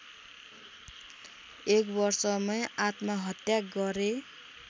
एक वर्षमै आत्महत्या गरे